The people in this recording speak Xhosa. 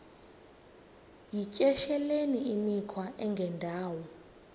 yityesheleni imikhwa engendawo